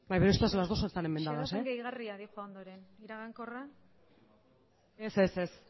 nire ustez las dos están enmendadas xedapen gehigarria dihoan ondoren iragankorra ez ez ez